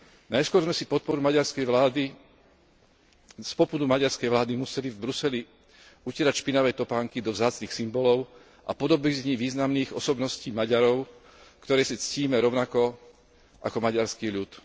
Najskôr sme si z popudu maďarskej vlády museli v Bruseli utierať špinavé topánky do vzácnych symbolov a podobizní významných osobností Maďarov, ktoré si ctíme rovnako ako maďarský ľud.